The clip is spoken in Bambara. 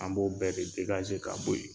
An b'o bɛɛ ka bɔ yen.